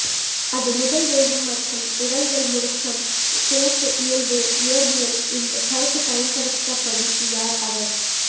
அது முதல் வேகம் மற்றும் உடல்கள் முடுக்கம் பிணைப்பு இயல்பு இயற்பியல் இந்த கருத்து பயன்படுத்தப்படும் யார் அவர்